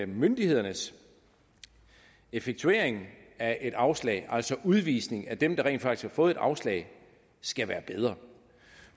myndighedernes effektuering af et afslag altså udvisningen af dem der rent faktisk har fået afslag skal være bedre